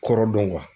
Kɔrɔ dɔn wa